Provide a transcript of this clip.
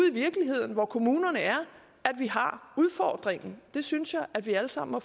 i virkeligheden hvor kommunerne er at vi har udfordringen det synes jeg at vi alle sammen må